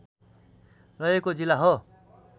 रहेको जिल्ला हो